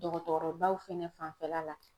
Dɔgɔtɔrɔbaw fɛnɛ fanfɛla la